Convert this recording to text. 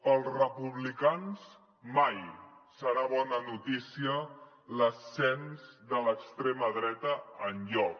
pels republicans mai serà bona notícia l’ascens de l’extrema dreta enlloc